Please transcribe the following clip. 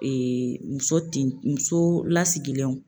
muso tin muso lasigilenw